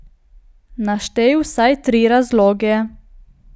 Naštej vsaj tri razloge.